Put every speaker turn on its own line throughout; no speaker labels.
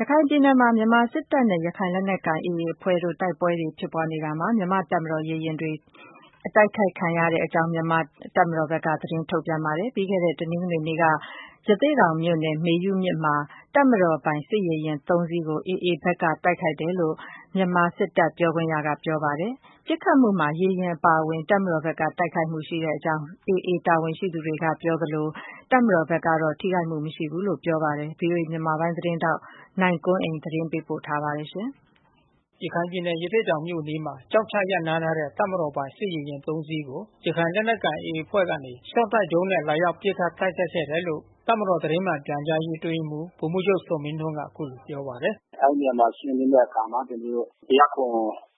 ရခိုင်ပြည်နယ်မှာ မြန်မာစစ်တပ်နဲ့ ရခိုင်လက်နက်ကိုင် AA အဖွဲ့တို့ တိုက်ပွဲတွေ ဖြစ်ပွားနေရာမှာ မြန်မာ့တပ်မတော် ရေယာဉ်တွေ တိုက်ခိုက်ခံရကြောင်း တပ်မတော်ဘက်က သတင်း ထုတ်ပြန်ထားပါတယ်။ ပြီးခဲ့တဲ့တနင်္ဂနွေနေ့က ရသေ့တောင်မြို့နယ် မေယုမြစ်မှာ တပ်မတော်ပိုင်စစ်ရေယာဉ် ၃ စီးကို AA ဘက်က တိုက်ခိုက်တယ်လို့ မြန်မာစစ်တပ်ပြောခွင့်ရက ပြောပါတယ်။ ပစ်ခတ်မှုမှာ ရေယာဉ်အပါဝင် တပ်မတော်ဘက်က ထိခိုက်မှု ရှိခဲ့ကြောင်း AA တာဝန်ရှိသူတွေက ပြောဆိုနေသလို တပ်မတော်ဘက်က ထိခိုက်မှု မရှိကြောင်း ပြောဆိုပါတယ်။ ဗွီအိုအေ မြန်မာပိုင်းသတင်းထောက် နိုင်ကွန်းအိန်ကနေ သတင်းပေးပို့ထားပါတယ်။
ရခိုင်ပြည်နယ် ရသေ့တောင်မြို့အနီးမှာ ကျောက်ချရပ်နားထားတဲ့ တပ်မတော်ပိုင် စစ်ရေယာဉ် ၃ စီးကို ရခိုင်လက်နက်ကိုင် AA အဖွဲ့ကနေ ရ
ှော့တိုက်ဒုံးနဲ့
လာရောက် ပစ်ခတ်တ ိုက်ခိုက်ခဲ့တယ်လို့ တပ်မတော ်သတင်းမှန်ပြန်ကြားရေး အတွင်းရေးမှူး ဗိုလ်မှူးချုပ်ဇော်မင်းထွန်းက အခုလိုပြောပါတယ်
။ “အဲဒီနေရာကို ရှင်းလင်းတဲ့အခါမှာ ကျနော်တို့ ၁၀၇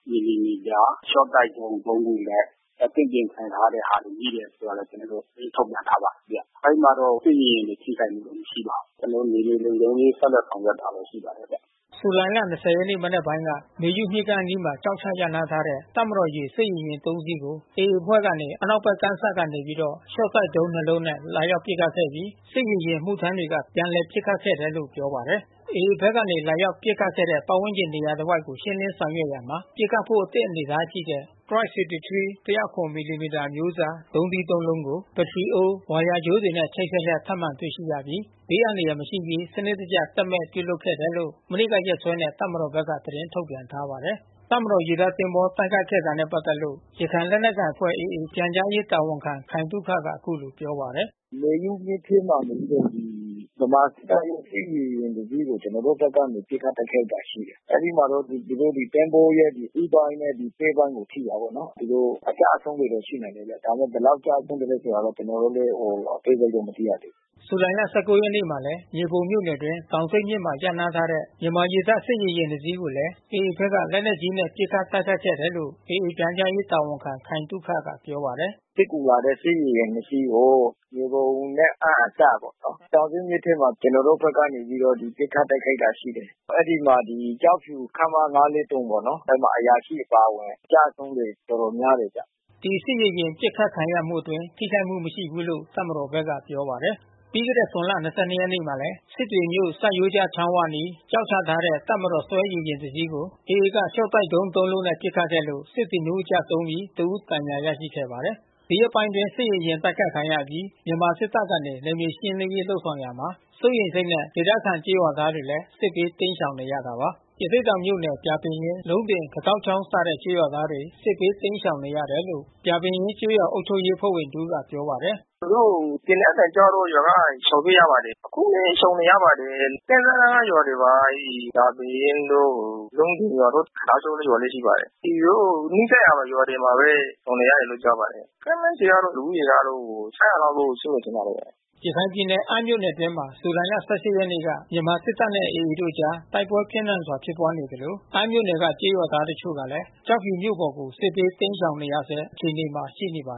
မီလီမီတာ ရှော့တိုက်ဒုံး ၃ ခုနဲ့ အသင့်ပြင်ဆင်ထားတဲ့ဟာတွေ မိတယ်ဆိုတာ ကျနော်တို့ သတင်း ထုတ်ပြန်ထားပါတယ်ဗျ။ အဲဒီမှာတော့ စစ်ရေယာဉ်တွေ ထိခိုက်မှုတော့ မရှိပါဘူး။ ကျနော်တို့ မြေပြင်လုံခြုံရေး ဆက်လက်ဆောင်ရွက်တာပဲ ရ
ှိပါတယ်ဗျ။” ဇူလိုင်လ ၂၀ ရက် နံနက်ပိုင်းက မေယုမြစ်ကမ်းအနီးမှာ ကျောက်ချ ရပ်နားထားတဲ့ တပ်မတော် ရေတပ် စစ်ရေယာဉ် ၃ စီး ကို AA အဖွဲ့ကနေ အနောက်ဘက် ကမ်းစပ်ကနေပြီးတော့ ရှော့တိုက်ဒုံး ၂ လုံးနဲ့ လာရောက်ပစ်ခတ်ခဲ့ပြီး စစ်ရေယာဉ် အမှုထမ်းတွေက ပြန်လည်ပစ်ခတ်ခဲ့တယ်လို့ ပြောပါတယ်။ AA ဘက်ကနေ လာရောက် ပစ်ခတ်ခဲ့တဲ့ ပတ်ဝန်းကျင်နေရာတဝိုက်ကို ရှင်းလင်းဆောင်ရွက်ရာမှာ ပစ်ခတ်ဖို့ အသင့် အနေအထားရှိတဲ့ Type 63 ၁၀၇ မီလီမီတာ အမျိုးအစားဒုံးသီး ၃ လုံးကို ဘတ္တရီအိုး၊ ဝါယာကြိုးတွေနဲ့ ချိတ်ဆက်လျက် ထပ်မံ တွေ့ရှိရပြီး ဘေးအန္တရာယ် မရှိစေရေး စနစ်တကျ သက်မဲ့ပြုလုပ်ခဲ့တယ်လို့ မနေ့က ရက်စွဲနဲ့ တပ်မတော်ဘက်က သတင်း ထုတ်ပြန်ထားပါတယ်။ တပ်မတော်ရေတပ ်သင်္ဘောတိုက်ခိုက်ခဲ့တာနဲ့ ပတ်သက်လို့ ရခိုင်လက်နက်ကိုင်အဖွဲ့ AA ပြန်ကြားရေးတာဝန်ခံ ခိုင်သုခက အခုလိုပြောပါတယ်
။ “မေယုမြစ်ထဲမှာနေပြီးတော့ ဗမာစစ်တပ်ရဲ့ စစ်ရေယာဥ ်တစီးကို ကျနော်တို့ဘက်က ပစ်ခတ်တိုက်ခိုက်ခဲ့တာ ရှိတယ်။ အဲဒီမှာတော့ သူတို့ရဲ့ သဘောၤရဲ့ ဦးပိုင်းနဲ့ ပဲ့ပိုင်းကို ထိတာပေါ့နော်။ သူတို့ အကျအဆုံးတွေ ရှိနိုင်တယ်ဗျ။ ဒါပေမဲ့ ဘယ်လောက်ကျဆုံးသလည်းဆ ိုတာတော့ ကျနော်တို့လည်း အသေးစိတ် မသိရသေးဘူး
။” ဇူလိုင်လ ၁၉ ရက်နေ့မှာလည်း မြေပုံမြို့နယ်အတွင်း တောင်ဆိတ်မြစ်မှာ ရပ်နားထားတဲ့ မြန်မာရေတပ် စစ်ရေယာဉ် နှစ်စီးကိုလည်း AA ဘက်က လက်နက်ကြီးနဲ့ ပစ်ခတ်တိုက်ခိုက်ခဲ့တယ်လို့ AA ပြန်ကြားရေးတာဝန်ခံခိုင်သုခက ပြောပါတယ်
။ “စစ်ကူလာတဲ့ စစ်ရေယာဉ် နှစ် စီးကို မြေပုံနဲ့အမ်း အစပ်ပေါ့နော်။ တောင်ဆိတ်မြစ်ထဲမှာ နေပြီးတော့ ကျနော်တို့ဘက်က ပစ်ခတ်တိုက်ခိုက်တာရ ှိတယ်။ အဲဒီမှာကျောက်ဖြူ ခမရ ၅၄၃ ပေါ့နော်။ အဲဒီမှာ အရာရှိအပါဝင် ကျဆုံးတွေတော်တော်များတယ်ဗျ။
” ဒီစစ်ရေယာဉ် ပစ်ခတ်ခံရမှုအတွင်း ထိခိုက်မှုမရှိဘူးလို့ တပ်မတော်ဘက်က ပြောပါတယ်။ ပြီးခဲ့တဲ့ဇွန်လ ၂၂ ရက်ကလည်း စစ်တွေမြို့ ဆတ်ရိုးကျချောင်းဝအနီး ကျောက်ချထားတဲ့ တပ်မတော်ဆွဲ ရေယာဉ် တစီးကို AA က ရှော့တိုက်ဒုံး သုံးလုံးနဲ့ ပစ်ခတ်ခဲ့လို့ စစ်သည် နှစ်ဦး ကျဆုံးပြီး တဦး ဒဏ်ရာရခဲ့ပါတယ်။ ဒီရက်ပိုင်း စစ်ရေယာဉ် တိုက်ခိုက်ခံရအပြီး မြန်မာစစ်တပ်ကနေ နယ်မြေရှင်းလင်းရေး လုပ်ဆောင်ရာမှာ စိုးရိမ်စိတ်နဲ့ ဒေသခံကျေး ရွာသားတွေလည်း စစ်ဘေး တိမ်းရှောင်နေကြရတာပါ။ ရသေ့တောင်မြို့နယ် ပြာပင်ရင်း၊ လုံးတင်၊ ခတောက်ချောင်းစတဲ့ ကျေးရွာသားတွေ စစ်ဘေးတိမ်းရှောင်နေရတယ်လို့ ပြာပင်ရင်းကျေးရွာအုပ်ချုပ်ရေးအဖွဲ့ဝင်တဦးကပြောပါတယ်။ “သူတို့
သေနတ်သံကြားတော့ ရွာက ရှောင်ပြေးရပါတယ်။ အခုလည်း ရှောင်နေရပါတယ်။ ကမ်းစပ်နားက ရွာတွေပါ။ အဲဒီ ပြာပင်ရင်းတို့ လုံးတင်ရွာတို့ ခတောက်ချောင်းရွာလည်း ရှိပါတယ်။ သူတို့ နီးစပ်ရာ ရွာတွေမှာပဲ ရှောင်နေတယ်လို့ ပြောပါတယ်။ ခန့်မှန်းခြေကတော့ လူဦးရေကတော့ ၆၀၀ လောက်တော့ရှိမယ် ထ
င်ပါတယ်။” ရခိုင်ပြည်နယ် အမ်းမြို့နယ်အတွင်းမှာ ဇူလိုင်လ ၁၈ ရက်နေ့က မြန်မာစစ်တပ်နဲ့ AA တို့အကြား တိုက်ပွဲပြင်းထန်စွာ ဖြစ်ပွားနေသလို အမ်းမြို့နယ်က ကျေးရွာသား တချို့ကလည်း ကျောက်ဖြူမြို့ပေါ်ကို စစ်ဘေးတိမ်းရှောင်နေရဆဲ အခြေအနေမှာ ရှိနေပါတယ်